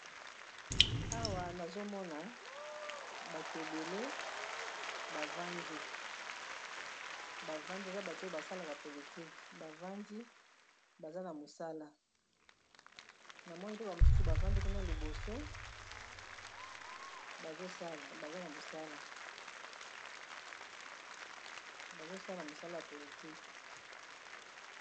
Awa nazomona bato ebele bavandi bavandi eza bato basalaka politik bavandi baza na mosala namoni pe ba mosusu bavandi kuna liboso bazosala mosala ya politike.